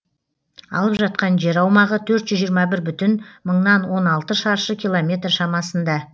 алып жатқан жер аумағы төрт жүз жиырма бір бүтін мыңнан он алты шаршы километр шамасында